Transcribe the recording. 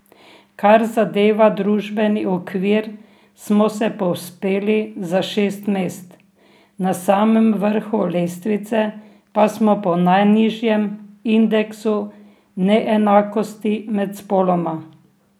Kar zadeva družbeni okvir smo se povzpeli za šest mest, na samem vrhu lestvice pa smo po najnižjem indeksu neenakosti med spoloma.